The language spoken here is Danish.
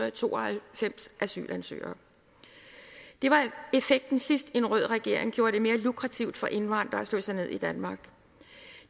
og tooghalvfems asylansøgere det var effekten sidst en rød regering gjorde det mere lukrativt for indvandrere at slå sig ned i danmark